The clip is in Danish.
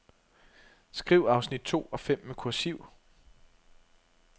Skriv afsnit to og fem med kursiv.